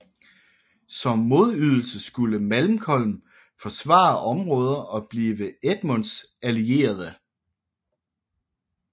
Som modydelse skulle Malcolm forsvare områder og blive Edmunds allierede